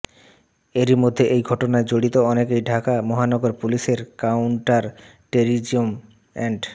এরই মধ্যে এই ঘটনায় জড়িত অনেকেই ঢাকা মহানগর পুলিশের কাউন্টার টেররিজম অ্যান্ড